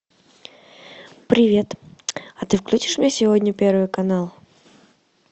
привет а ты включишь мне сегодня первый канал